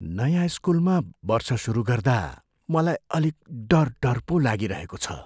नयाँ स्कुलमा वर्ष सुरु गर्दा मलाई अलिक डर डर पो लागिरहेको छ।